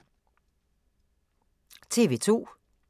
TV 2